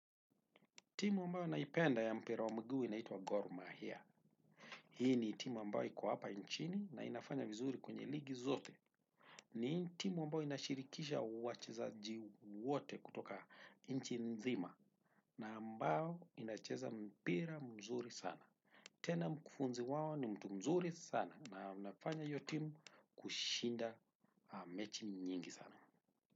Timu ambayo naipenda ya mpira wa mguu inaitwa Gor Mahia. Hii ni timu ambayo iko hapa nchini na inafanya vizuri kwenye ligi zote. Ni timu ambayo inashirikisha wachezaji wote kutoka nchi nzima na ambao inacheza mpira mzuri sana. Tena mkufunzi wao ni mtu mzuri sana na anafanya iyo timu kushinda mechi nyingi sana.